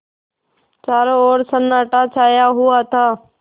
चारों ओर सन्नाटा छाया हुआ था